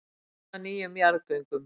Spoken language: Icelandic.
Fagna nýjum jarðgöngum